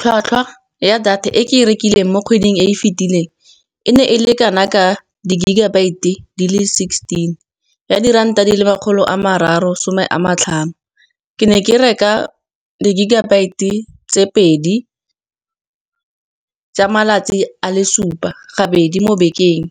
Ylhwatlhwa ya data e ke e rekileng mo kgweding e e fitileng, e ne e le kana ka di-gigabyte di le sixteen, ya diranta di le makgolo a mararo some a matlhano. Ke ne ke reka di-gigabyte tse pedi tsa malatsi a le supa gabedi mo bekeng,